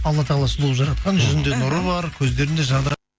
алла тағала сұлу қылып жаратқан жүзінде нұры бар көздерінде жадырап